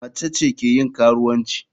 Mace ce ke yin karuwanci.